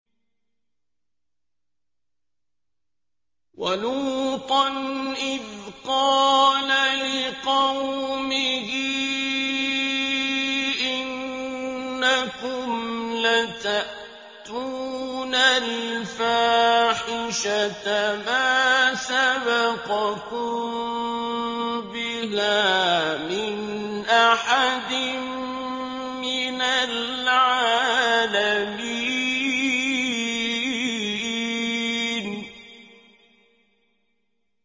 وَلُوطًا إِذْ قَالَ لِقَوْمِهِ إِنَّكُمْ لَتَأْتُونَ الْفَاحِشَةَ مَا سَبَقَكُم بِهَا مِنْ أَحَدٍ مِّنَ الْعَالَمِينَ